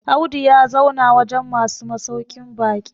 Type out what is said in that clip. Audu ya zauna wajen masu masaukin baki